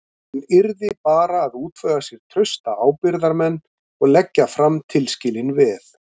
Hann yrði bara að útvega sér trausta ábyrgðarmenn og leggja fram tilskilin veð.